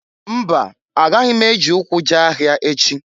Mba! Agaghi m eji ụkwụ jee ahịa echi.